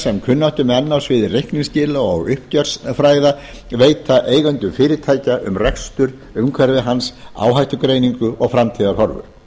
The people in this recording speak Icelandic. sem kunnáttumenn á sviði reikningsskila og uppgjörsfræða veita eigendum fyrirtækja um rekstur umhverfi hans áhættugreiningu og framtíðarhorfur